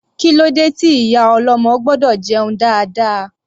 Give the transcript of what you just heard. Kílódé tí ìyá ọlọ́mọ gbọ́dọ̀ jẹun dáadáa?